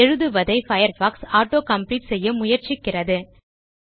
எழுதுவதை Firefox auto complete செய்ய முயற்சிக்கிறது